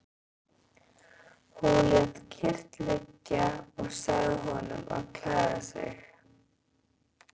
Hún lét kyrrt liggja og sagði honum að klæða sig.